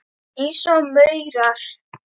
Eins og maurar.